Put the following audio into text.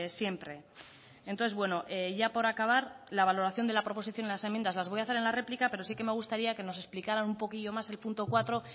siempre entonces bueno ya por acabar la valoración de la proposición y las enmiendas las voy a hacer en la réplica pero sí que me gustaría que nos explicará un poquillo más el punto cuatro